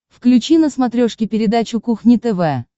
включи на смотрешке передачу кухня тв